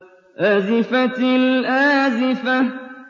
أَزِفَتِ الْآزِفَةُ